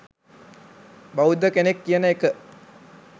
බෞද්ධ කෙනෙක් කියන එක